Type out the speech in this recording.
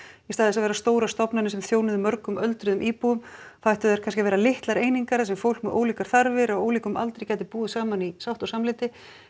í stað þess að vera stóarar stofnanir sem þjónuðu mörgum öldruðum íbúum þá ættu þau kannski að vera litlar einingar þar sem að fólk með ólíkar þarfir á ólíkum aldri gæti búið saman í sátt og samlyndi